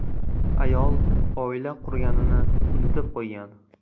Ayol oila qurganini unutib qo‘ygan.